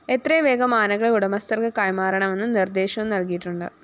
എത്രയും വേഗം ആനകളെ ഉടമസ്ഥര്‍ക്ക് കൈമാറണമെന്ന് നിര്‍ദ്ദേശവും നല്‍കിയിട്ടുണ്ട്